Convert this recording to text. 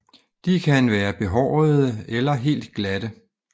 De kan være behårede eller helt glatte